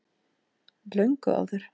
Löngu áður.